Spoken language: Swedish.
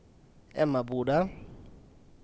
Emmaboda